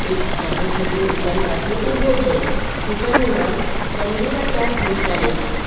એક નાનો છોકરો દુકાન પાસે ઉભો છે દુકાનનું નામ તંદુરા ચા સ્પેશિયાલિક છે.